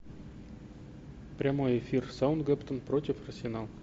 прямой эфир саутгемптон против арсенал